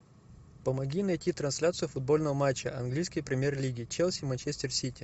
помоги найти трансляцию футбольного матча английской премьер лиги челси манчестер сити